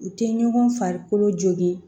U tɛ ɲɔgɔn farikolo jogi